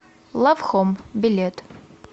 лав хоум билет